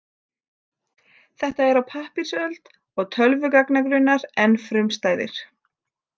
Þetta er á pappírsöld og tölvugagnagrunnar enn frumstæðir.